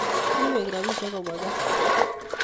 Kiiweek rabisiek kobwa gaa